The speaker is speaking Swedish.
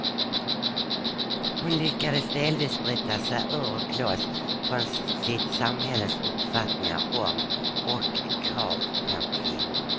Hon lyckades delvis bryta sig ur och loss från sitt samhälles uppfattningar om och krav på kvinnor.